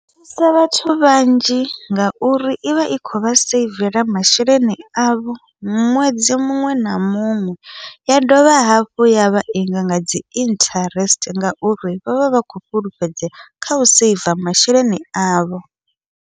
Thusa vhathu vhanzhi ngauri ivha i khovha seivela masheleni avho, ṅwedzi muṅwe na muṅwe ya dovha hafhu yavha inga ngadzi interest ngauri vha vha vha khou fhulufhedzea kha u saver masheleni avho.